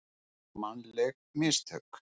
Mannleg mistök.